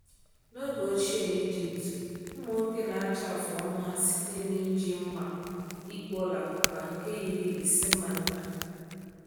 N’oge ochie n’Ijipt, ụmụ nwoke na-acha afụ ọnụ ha site n’iji mma igwe ọla kọpa nke yiri isi mma nta.